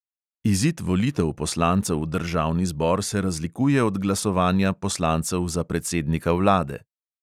Izid volitev poslancev v državni zbor se razlikuje od glasovanja poslancev za predsednika vlade.